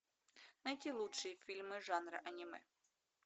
найти лучшие фильмы жанра аниме